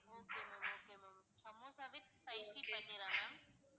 okay ma'am okay ma'am samosa with spicy paneer ஆ ma'am